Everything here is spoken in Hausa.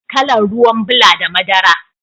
Kalan ruwan bula da madara.